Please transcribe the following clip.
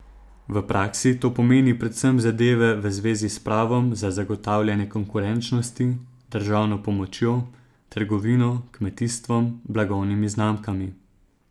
V praksi to pomeni predvsem zadeve v zvezi s pravom za zagotavljanje konkurenčnosti, državno pomočjo, trgovino, kmetijstvom, blagovnimi znamkami.